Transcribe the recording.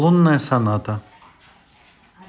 лунная соната